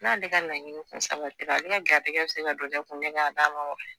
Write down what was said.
N'ale ka laaɲini kun sabatira ale ka garisigɛ bi se ka don ne kun ne ka d'a ma wo.